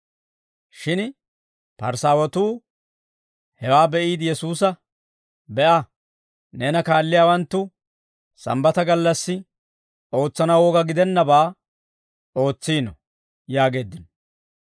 Shin Parisaawatuu hewaa be'iide Yesuusa, «Be'a, neena kaalliyaawanttu Sambbata gallassi ootsanaw woga gidennabaa ootsiino» yaageeddino.